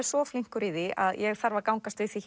svo flinkur í því að ég þarf að gangast við því